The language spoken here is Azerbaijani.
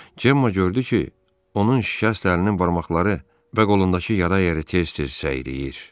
Cemma gördü ki, onun şikəst əlinin barmaqları və qolundakı yara yeri tez-tez səyriyir.